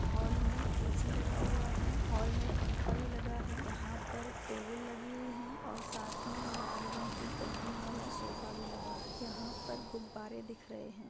Hall मे AC. लगा हुआ है हॉल मे एक पंखा भी लगा है यहा पर टेबल लगी हुई है और साथ मे लाल रंग की गद्दियों वाला सोफ़ा भी लगा है यहा पर गुब्बारे दिख रहे है।